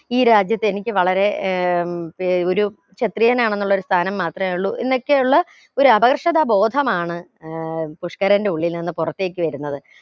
ഈ രാജ്യത്ത് എനിക്ക് വളരെ ഏർ പി ഒരു ക്ഷത്രിയനാണെന്നുള്ളൊരു സ്ഥാനം മാത്രമേ ഉള്ളു എന്നൊക്കെയുള്ള ഒരു അപകർഷതാ ബോധമാണ് ഏർ പുഷ്‌ക്കരന്റെ ഉള്ളിൽ നിന്ന് പുറത്തേക് വരുന്നത്